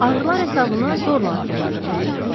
Ağrılar hesabına zorla addımladığı bilinirdi.